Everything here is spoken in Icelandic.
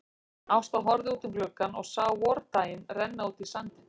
Ásta horfði út um gluggann og sá vordaginn renna út í sandinn.